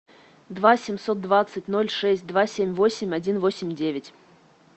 два семьсот двадцать ноль шесть два семь восемь один восемь девять